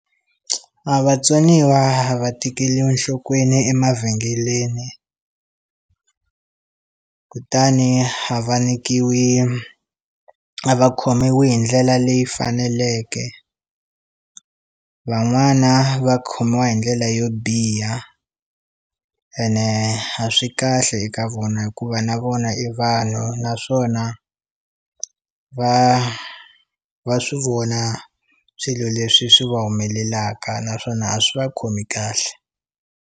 A vatsoniwa a va tekeliwi nhlokweni emavhengeleni kutani ha va nyikiwi a va khomiwi hi ndlela leyi faneleke van'wana va khomiwa hi ndlela yo biha ene a swi kahle eka vona hikuva na vona i vanhu naswona va va swi vona swilo leswi swi va humelelaka naswona a swi va khomi kahle.